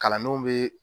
Kalandenw be